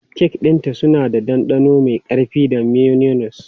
Kek ɗinta suna da ɗanɗano mai ƙarfi da mayonnaise.